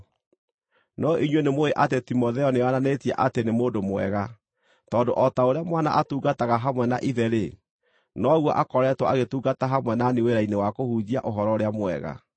No inyuĩ nĩmũũĩ atĩ Timotheo nĩeyonanĩtie atĩ nĩ mũndũ mwega, tondũ o ta ũrĩa mwana atungataga hamwe na ithe-rĩ, noguo akoretwo agĩtungata hamwe na niĩ wĩra-inĩ wa kũhunjia Ũhoro-ũrĩa-Mwega.